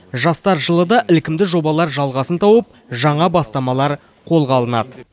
жастар жылы да ілкімді жобалар жалғасын тауып жаңа бастамалар қолға алынады